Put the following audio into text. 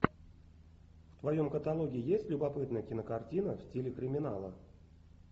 в твоем каталоге есть любопытная кинокартина в стиле криминала